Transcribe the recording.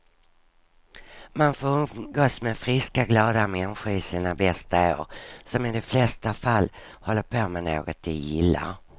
Man får umgås med friska, glada människor i sina bästa år, som i de flesta fall håller på med något de gillar.